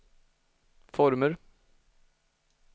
former